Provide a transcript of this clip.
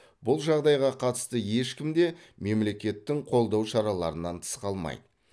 бұл жағдайға қатысты ешкім де мемлекеттің қолдау шараларынан тыс қалмайды